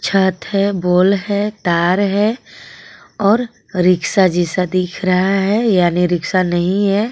छत है बोल है तार हे और रिक्शा जैसा दिख रहा है यानी रिक्शा नहीं है.